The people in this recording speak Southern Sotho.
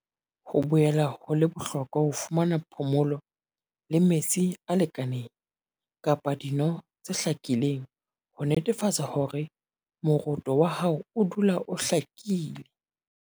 Ho boela ho le bohlokwa ho fumana phomolo le metsi a lekaneng kapa dino tse hlakileng ho netefatsa hore moroto wa hao o dula o hlakile.